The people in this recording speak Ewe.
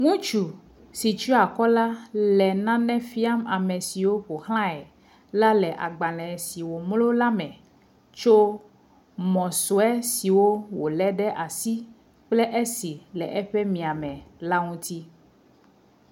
Ŋutsu si treakɔ la le nane fia me siwo ƒoxlae la le agbalẽ le womlu la me, tso mɔsue siwo wole ɖe asi kple esi le eƒe miame la ŋuti.